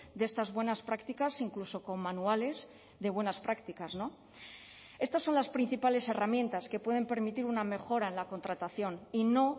de estas buenas prácticas incluso con manuales de buenas prácticas estas son las principales herramientas que pueden permitir una mejora en la contratación y no